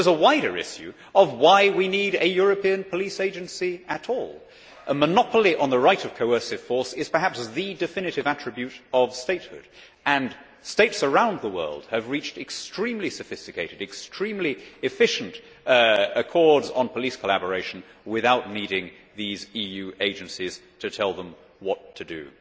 There is a wider issue of why we need a European police agency at all. A monopoly on the right of coercive force is perhaps the definitive attribute of statehood and states around the world have reached extremely sophisticated, extremely efficient accords on police collaboration without needing these EU agencies to tell them what to do.